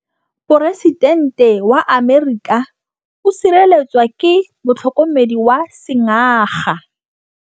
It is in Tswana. Poresitêntê wa Amerika o sireletswa ke motlhokomedi wa sengaga.